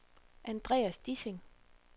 Andreas Dissing